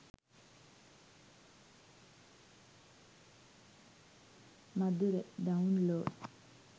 madura download